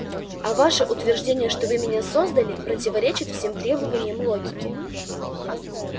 а ваше утверждение что вы меня создали противоречит всем требованиям логики